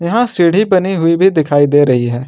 यहां सीढ़ी बनी हुई भी दिखाई दे रही है।